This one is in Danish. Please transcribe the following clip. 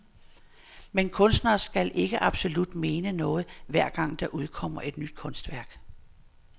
Men kunstnere skal ikke absolut mene noget, hver gang der udkommer et nyt kunstværk.